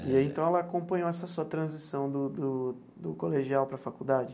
E aí, então, ela acompanhou essa sua transição do do do colegial para a faculdade?